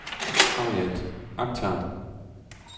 Harriet Akhtar